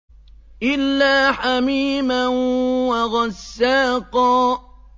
إِلَّا حَمِيمًا وَغَسَّاقًا